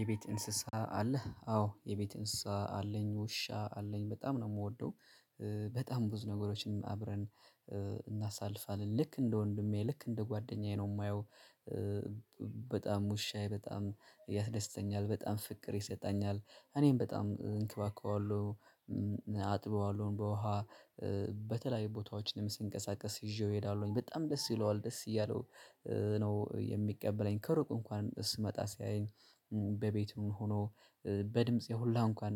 የቤት እንስሳ አለህ? አዎ የቤት እንስሳ አለኝ ውሻ አለኝ በጣም ነው የምወደው። በጣም ብዙ ነገሮችን አብረን እናሳልፋለን ልክ እንደ ወንድሜ ልክ እንደ ጓደኛዬ ነው የማየው። በጣም ውሻዬ በጣም ያስደስተኛል በጣም ፍቅር ይሰጣኛል እኔም በጣም እንከባከበዋለሁ። አጥበዋለሁም በውሃ በተለያዩ ቦታዎችንም ስንቀሳቀስ ይዤው እሄዳለሁኝ በጣም ደስ ይለዋል ደስ እያለው ነው የሚቀበለኝ ከሩቅ እንኳን ስመጣ ሲያየኝ። በቤቱ ሆኖ በድምጼ ሁላ እንኳን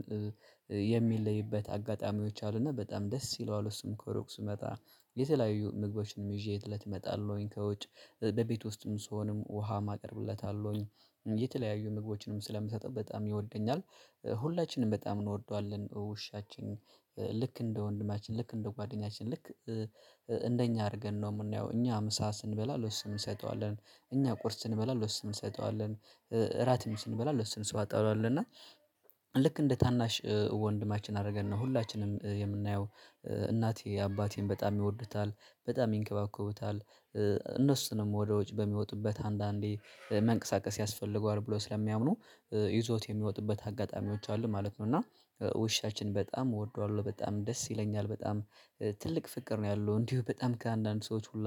የሚለይበት አጋጣሚዎች አሉና በጣም ደስ ይለዋለው እሱም ከሩቅ ስመጣ የተለያዩ ምግቦችንም ይዤ እለት እመጣለሁኝ ከውጭ በቤት ውስጥም ስሆንም ውሃም አቀርብለታለሁኝ የተለያዩ ምግቦችንም ስለምሰጠው በጣም ይወደኛል። ሁላችንም በጣም እንወደዋለን ውሻችን ልክ እንደ ወንድማችን ልክ እንደ ጓደኛችን ልክ እንደኛ አድርገን ነው የምናየው። እኛ ምሳ ስንበላ ለሱም እንሰጠዋለን እኛ ቁርስ ስንበላ ለሱም እንሰጠዋለን እራትም ስንበላ ለሱ እንሰጠዋለን እና ልክ እንደ ታናሽ ወንድማችን አደረገን ነው ሁላችንም የምናየው። እናቴ አባቴም በጣም ይወዱታል በጣም ይንከባከቡታል እነሱንም ወደዉጩ በሚወጡበት አንዳንዴ መንቀሳቀስ ያስፈልገዋል ብለው ስለሚያምኑ ይዘዉት የሚወጡበት አጋጣሚዎች አሉ ማለት ነው። እና ውሻችን በጣም እወደዋለሁ በጣም ደስ ይለኛል በጣም ትልቅ ፍቅር ነው ያለው እንዲሁ በጣም ከአንዳንድ ሰዎች ሁላ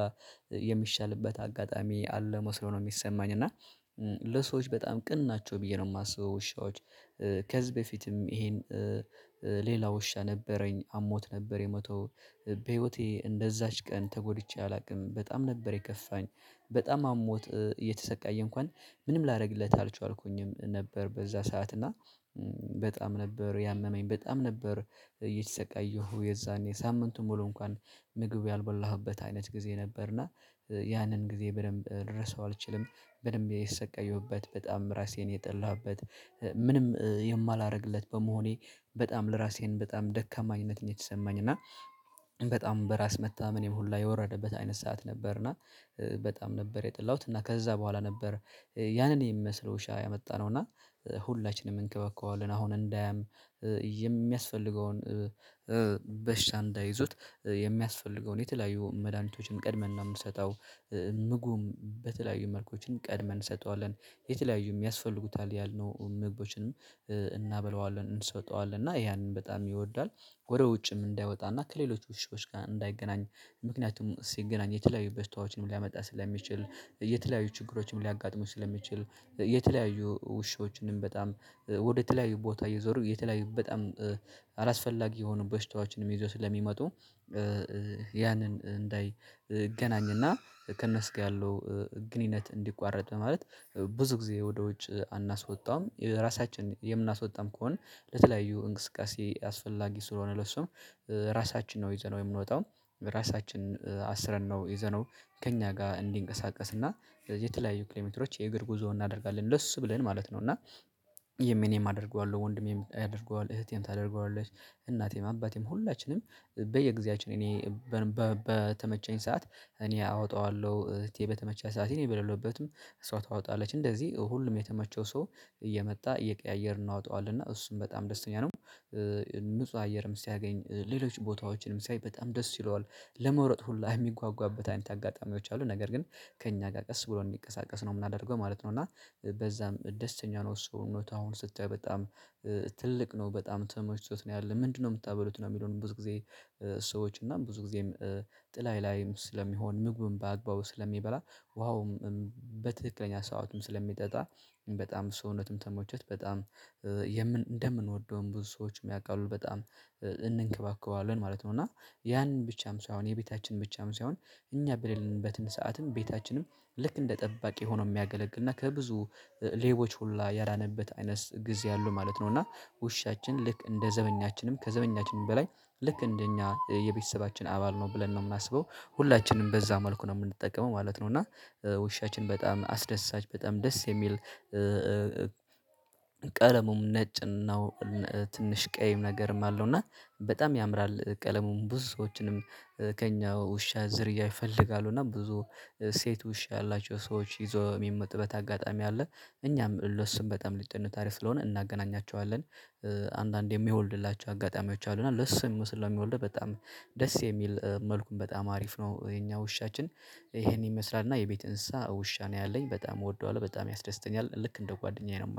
የሚሻልበት አጋጣሚ አለ መስሎ ነው የሚሰማኝ እና ለሰዎች በጣም ቅን ናቸው ብዬ ነው የማስበው ውሻዎች። ከዚህ በፊትም ይሄን ሌላ ውሻ ነበረኝ አሞት ነበር የሞተው በህይወቴ እንደዛች ቀን ተጎድቼ አላውቅም በጣም ነበር የከፋኝ። በጣም አሞት እየተሰቃየ እንኳን ምንም ላደርግለት አልቻልኩኝም ነበር በዛ ሰዓት እና በጣም ነበር ያመመኝ በጣም ነበር እየተሰቃየሁ የዛኔ ሳምንቱን ሙሉ እንኳን ምግቡ ያልበላሁበት አይነት ጊዜ ነበርና ያንን ጊዜ በደንብ ልረሳው አልችልም። በደንብ የተሰቃየሁበት በጣም ራሴን የጠላሁበት ምንም የማላደርግለት በመሆኔ በጣም ለራሴን በጣም ደካማ አይነት ነው የተሰማኝ እና በጣም በራስ መተማመኔ ሁላ የወረደበት አይነት ሰዓት ነበርና። በጣም ነበር የጠላሁት እና ከዛ በኋላ ነበር ያንን የሚመስለው ውሻ ያመጣነው እና ሁላችንም እንከባከበዋለን አሁን እንዳያም የሚያስፈልገውን በሽታ እንዳይዙት የሚያስፈልገውን የተለያዩ መድሃኒቶችን ቀድመን ነው የምንሰጠው። ምግቡም በተለያዩ መልኮችን ቀድመን እንሰጠዋለን የተለያዩም ያስፈልጉታል ያልነው ምግቦችንም እናበላዋለን እንሰጠዋለን እና ያንን በጣም ይወዳል። ወደ ውጭም እንዳይወጣና ከሌሎች ውሾች ጋር እንዳይገናኝ ምክንያቱም ሲገናኝ የተለያዩ በሽታዎችንም ሊያመጣ ስለሚችል የተለያዩ ችግሮችም ሊያጋጥሙት ስለሚችል የተለያዩ ውሾችንም በጣም ወደ ተለያዩ ቦታ እየዞሩ የተለያዩ በጣም አላስፈላጊ የሆኑ በሽታዎችንም ይዞ ስለሚመጡ። ያንን እንዳይገናኝና ከእነሱ ጋር ያለው ግንኙነት እንዲቋረጥ በማለት ብዙ ጊዜ ወደ ውጭ አናስወጣዉም ራሳችን የምናስወጣም ከሆነ ለተለያዩ እንቅስቃሴ አስፈላጊ ስለሆነ ለሱም ራሳችን ነው ይዘነው የምንወጣው ራሳችን አስረን ነው ይዘነው ከእኛ ጋር እንዲንቀሳቀስና ስለዚህ የተለያዩ ኪሎ ሜትሮች የእግር ጉዞ እናደርጋለን ለሱ ብለን ማለት ነው። እና እኔም አደርገዋለሁ ወንድሜም ያደርገዋል እህቴም ታደርገዋለሽ እናቴም አባቴም ሁላችንም በየጊዜያችን እኔ በተመቸኝ ሰዓት እኔ አወጣዋለሁ እህቴ በተመቻት ሰዓት እኔ በሌለውበትም እሷ ታወጣለች እንደዚህ ሁሉም የተመቸው ሰው እየመጣ እየቀያየርን እናውጣዋለን እና እሱም በጣም ደስተኛ ነው። ንጹህ አየርም ሲያገኝ ሌሎች ቦታዎችንም ሲያይ በጣም ደስ ይለዋል ለመሮጥ ሁላ የሚጓጓበት አይነት አጋጣሚዎች አሉ ነገር ግን ከእኛ ጋር ቀስ ብሎ እንዲንቀሳቀስ ነው የማደርገው ማለት ነው። እና በዛም ደስተኛ ነው እሱ እውነት አሁን ስታይ በጣም ትልቅ ነው በጣም ተመችቶት ነው ያለው ምንድነው የምታበሉት ነው የሚለውን ብዙ ጊዜ ሰዎች እና ብዙ ጊዜም ጥላዬ ላይም ስለሚሆን ምግብም በአግባቡ ስለሚበላ ውሃውም በትክክለኛ ሰዓትም ስለሚጠጣ በጣም ሰውነቱም ተመችቶት በጣም እንደምንወደውም ብዙ ሰዎችም ያውቃሉ በጣም እንንከባከባዋለን ማለት ነው። እና ያንን ብቻም ሳይሆን የቤታችን ብቻም ሳይሆን እኛ በሌለንበትን ሰዓትም ቤታችንም ልክ እንደ ጠባቂ ሆኖ የሚያገለግልና ከብዙ ሌቦች ሁላ ያዳነበት አይነት ጊዜ አሉ ማለት ነው እና ውሻችን ልክ እንደ ዘበኛችንም ከዘበኛችንም በላይ ልክ እንደኛ የቤተሰባችን አባል ነው ብለን ነው የምናስበው ሁላችንም በዛ መልኩ ነው የምንጠቀመው ማለት ነው። እና ውሻችን በጣም አስደሳች በጣም ደስ የሚል ቀለሙም ነጭ ነው። ትንሽ ቀይም ነገርም አለው እና በጣም ያምራል ቀለሙን ብዙ ሰዎችንም ከእኛ ውሻ ዝርያ ይፈልጋሉ እና ብዙ ሴት ውሻ ያላቸው ሰዎች ይዞው የሚመጡበት አጋጣሚ አለ። እኛም ለሱም በጣም ልጅ አሪፍ ስለሆነ እናገናኛቸዋለን አንዳንዴ የሚወልድላቸው አጋጣሚዎች አሉ እና ለሱ የሚመስል እሚወልድው በጣም ደስ የሚል መልኩም በጣም አሪፍ ነው። የኛ ውሻችን ይሄን ይመስላል እና የቤት እንስሳ ውሻ ነው ያለኝ በጣም እወደዋለሁ በጣም ያስደስተኛል ልክ እንደ ጓደኛዬ ነው የማየው